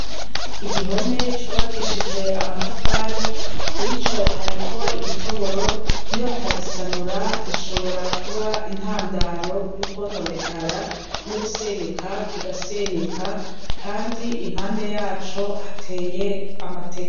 Igihome cubakishijwe amatafari, kuri co hariko igitoboro, nibatagisanura gishobora kuba intandaro yo kwononekara, n'ugusenyuka kigasenyuka, kandi impande yaco hateye amateke